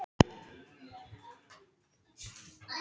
Það er forvitnilegt að kanna viðbrögðin.